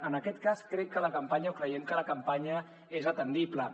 en aquest cas crec que la campanya o creiem que la campanya és atendible